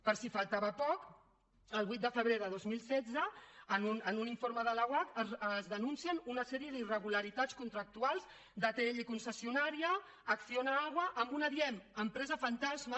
per si faltava poc el vuit de febrer del dos mil setze en un informe de l’oarcc es denuncien una sèrie d’irregularitats contractuals d’atll concessionària acciona agua amb una diguem ne empresa fantasma